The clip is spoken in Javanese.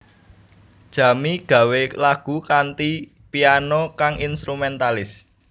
Jamie gawé lagu kanthi piano kang instrumentalis